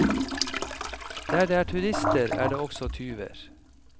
Der det er turister, er det også tyver.